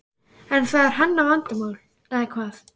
En það er hennar vandamál eða hvað?